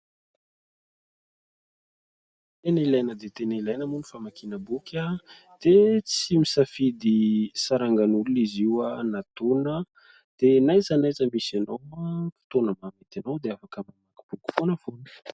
Tena ilaina dia tena ilaina moa ny famakiana boky, dia tsy misafidy sarangan'olona izy io na taona, dia na aiza na aiza misy anao fotoana mahamety anao dia afaka mamaky boky foanafoana.